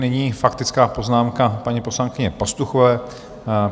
Nyní faktická poznámka paní poslankyně Pastuchové.